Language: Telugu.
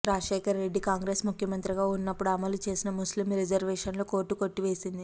రాజశేఖర రెడ్డి కాంగ్రెస్ ముఖ్యమంత్రిగా ఉన్నప్పుడు అమలు చేసిన ముస్లిం రిజర్వేషన్లను కోర్టు కొట్టివేసింది